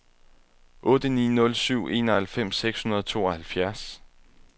otte ni nul syv enoghalvfems seks hundrede og tooghalvfjerds